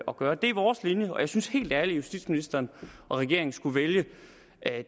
at gøre det er vores linje og jeg synes helt ærligt at justitsministeren og regeringen skulle vælge